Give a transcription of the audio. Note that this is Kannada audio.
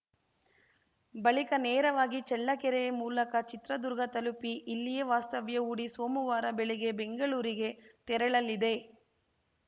ಬಳಿಕ ನೇರವಾಗಿ ಚಳ್ಳಕೆರೆ ಮೂಲಕ ಚಿತ್ರದುರ್ಗ ತಲುಪಿ ಇಲ್ಲಿಯೇ ವಾಸ್ತವ್ಯ ಹೂಡಿ ಸೋಮುವಾರ ಬೆಳಗ್ಗೆ ಬೆಂಗಳೂರಿಗೆ ತೆರಳಲಿದೆ